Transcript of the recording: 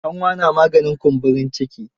Kanwa na maganin kumburin ciki.